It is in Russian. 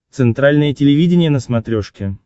центральное телевидение на смотрешке